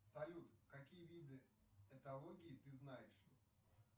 салют какие виды этологии ты знаешь